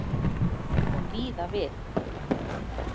Kom víða við